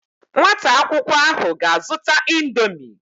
Nwata akwukwo ahu ga azuta indomie